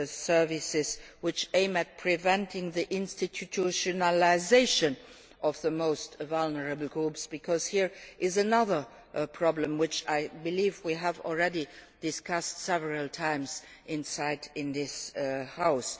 and healthcare services aimed at preventing the institutionalisation of the most vulnerable groups, because this is another problem which I believe we have already discussed several times